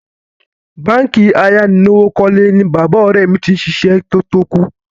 Báǹkì ayánilówókọ́lé ni bàbá ọ̀rẹ́ mi ti ṣiṣẹ́ kó tó kú.